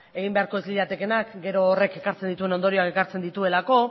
egin beharko ez liratekeenak gero horrek ekartzen dituen ondorioak ekartzen dituelako